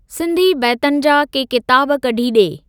सिंधी बैतनि जा के किताब कढी डे॒।